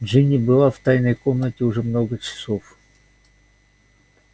джинни была в тайной комнате уже много часов